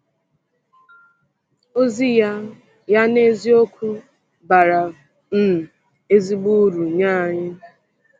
Ozi ya ya n’eziokwu bara um ezigbo uru nye anyị.